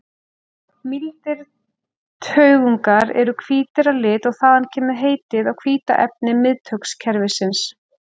Mýldir taugungar eru hvítir að lit og þaðan kemur heitið á hvíta efni miðtaugakerfisins.